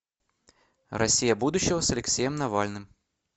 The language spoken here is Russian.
россия будущего с алексеем навальным